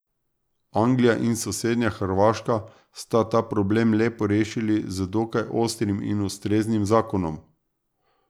Anglija in sosednja Hrvaška sta ta problem lepo rešili z dokaj ostrim in ustreznim zakonom.